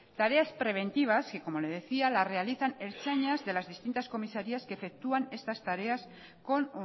tareas preventivas que como le decía la realizan ertzainas de las distintas comisarías que efectúan estas tareas con